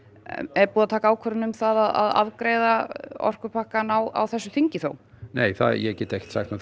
er búið að taka ákvörðun um að afgreiða orkupakkann á þessu þingi þó ég get ekkert sagt um